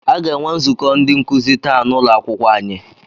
Aga enwe nzukọ ndị nkuzi taa n'ụlọakwụkwọ anyị.